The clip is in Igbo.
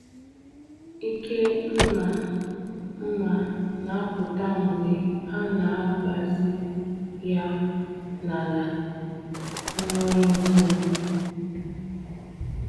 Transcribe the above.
Ike mma mma na-apụta mgbe a na-agbazi ya n’ala nwere nkume.